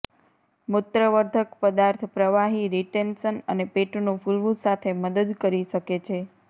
મૂત્રવર્ધક પદાર્થ પ્રવાહી રીટેન્શન અને પેટનું ફૂલવું સાથે મદદ કરી શકે છે